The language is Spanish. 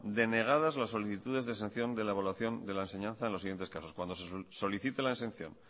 denegadas las solicitudes de exención de la evaluación de la enseñanza en los siguientes casos cuando se solicite la exención